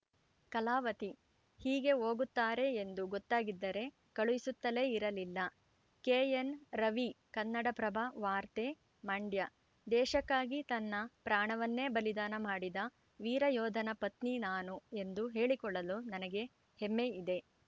ಕಲಾವತಿ ಹೀಗೆ ಹೋಗುತ್ತಾರೆ ಎಂದು ಗೊತ್ತಾಗಿದ್ದರೆ ಕಳುಹಿಸುತ್ತಲೇ ಇರಲಿಲ್ಲ ಕೆಎನ್‌ರವಿ ಕನ್ನಡಪ್ರಭ ವಾರ್ತೆ ಮಂಡ್ಯ ದೇಶಕ್ಕಾಗಿ ತನ್ನ ಪ್ರಾಣವನ್ನೇ ಬಲಿದಾನ ಮಾಡಿದ ವೀರ ಯೋಧನ ಪತ್ನಿ ನಾನು ಎಂದು ಹೇಳಿಕೊಳ್ಳಲು ನನಗೆ ಹೆಮ್ಮೆ ಇದೆ